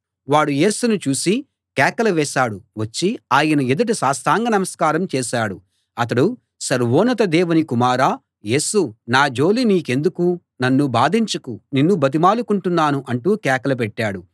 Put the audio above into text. వాడు యేసును చూసి కేకలు వేశాడు వచ్చి ఆయన ఎదుట సాష్టాంగ నమస్కారం చేశాడు అతడు సర్వోన్నత దేవుని కుమారా యేసూ నా జోలి నీకెందుకు నన్ను బాధించకు నిన్ను బతిమాలుకుంటున్నాను అంటూ కేకలు పెట్టాడు